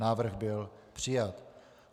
Návrh byl přijat.